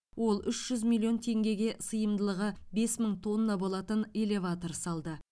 ол үш жүз миллион теңгеге сыйымдылығы бес мың тонна болатын элеватор салды